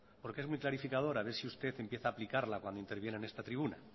porque es muy clarificador a ver si usted empieza a aplicarla cuando interviene en esta tribuna